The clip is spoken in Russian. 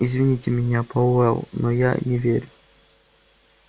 извините меня пауэлл но я не верю